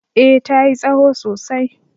eh ta yi tsaho sosai